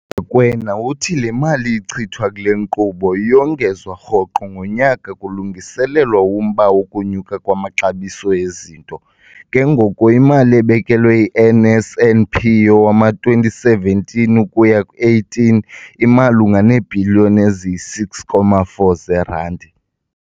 URakwena uthi le mali ichithwa kule nkqubo iyongezwa rhoqo ngonyaka kulungiselelwa umba wokunyuka kwamaxabiso ezinto, ke ngoko imali ebekelwe i-NSNP yowama-2017 ukuya 18 imalunga neebhiliyoni eziyi-6.4 zeerandi.